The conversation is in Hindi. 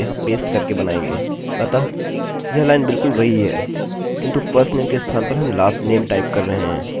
अतः यह लाइन बिलकुल वही है किन्तु firstname के स्थान पर हम lastname टाइप कर रहे हैं